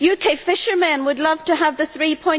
UK fishermen would love to have the GBP